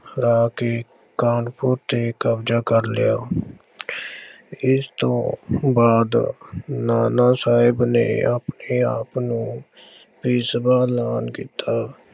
ਹਰਾ ਕੇ ਕਾਨਪੁਰ ਤੇ ਕਬਜ਼ਾ ਕਰ ਲਿਆ। ਇਸ ਤੋਂ ਬਾਅਦ ਨਾਨਾ ਸਾਹਿਬ ਨੇ ਆਪਣੇ ਆਪ ਨੂੰ ਪੇਸ਼ਵਾ ਐਲਾਨ ਕੀਤਾ।